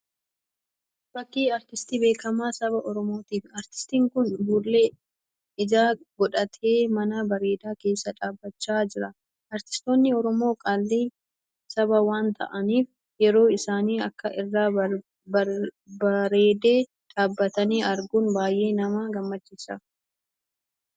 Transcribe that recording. Fakkii aartistii beekamaa saba Oromooti. Aartistiin kun fuullee ijaa godhatee mana bareedaa keessa dhaabbachaa jira. Aartistoonni Oromoo qaalii sabaa waan ta'aaniif yeroo isaan akka irraa bareedee dhaabbatan arguun baay'ee nama gammachiisa.